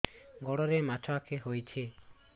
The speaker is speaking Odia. ଗୋଡ଼ରେ ମାଛଆଖି ହୋଇଛି